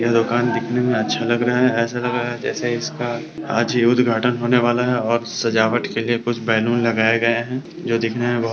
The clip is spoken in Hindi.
यह दुकान देखने में अच्छा लग रहा है ऐसा लग रहा है जैसे आज ही इसका उद्घाटन होने वाला है और सजावट के लिए कुछ बैलून लगाए गए हैं जो दिखने में बहो --